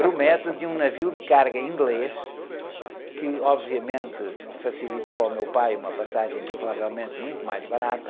Grumete de um navio de carga inglês, que obviamente facilitou ao meu pai uma passagem provavelmente muito mais barata,